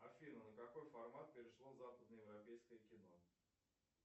афина на какой формат перешло западноевропейское кино